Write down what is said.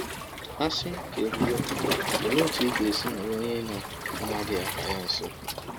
A sị ka e kwuwe, olee otú ị ga-esi nọrọ onye ị na-amaghị aha ya nso?